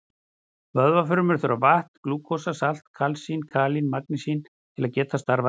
Vöðvafrumur þurfa vatn, glúkósa, salt, kalsín, kalín og magnesín til að geta starfað rétt.